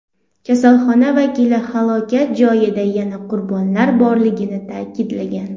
Kasalxona vakili halokat joyida yana qurbonlar borligini ta’kidlagan.